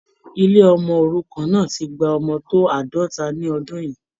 Ilé ọmọ òrukàn náà ti gba ọmọ tó àádọ́ta ní ọdún yìí.